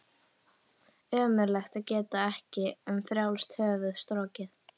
Ömurlegt að geta ekki um frjálst höfuð strokið.